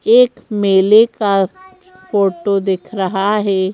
एक मेले का फोटो दिख रहा है।